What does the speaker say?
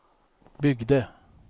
byggde